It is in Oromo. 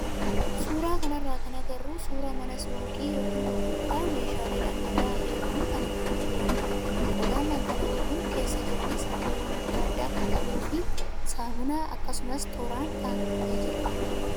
Suuraa kanarraa kan agarru suuraa mana suuqii yookaan gurgurtaa meeshaalee dhangal'aa hedduun kan itti gurguramudha. Qodaan dhangala'oon kun keessa jiranis halluuwwan adda addaa kan qabuu fi saamunaa akkasumas tooraan kaa'amee jira.